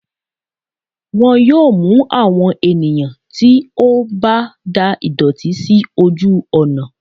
wọn yóò mú àwọn ènìyàn tí o ba dà ìdòtí sí ojú ònà